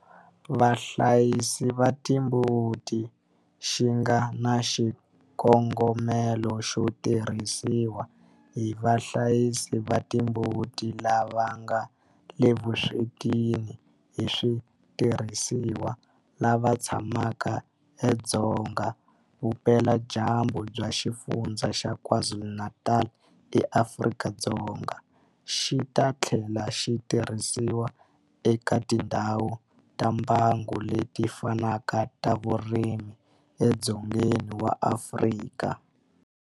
Vahlayisi va timbuti xi nga na xikongomelo xo tirhisiwa hi vahlayisi va timbuti lava nga le vuswetini hi switirhisiwa lava tshamaka edzonga vupeladyambu bya Xifundzha xa KwaZulu-Natal eAfrika-Dzonga, xi ta tlhela xi tirhisiwa eka tindhawu ta mbango leti fanaka ta vurimi edzongeni wa Afrika.